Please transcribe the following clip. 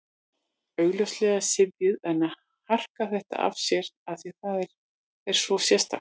Augljóslega syfjuð en að harka þetta af sér af því að það er svo sérstakt.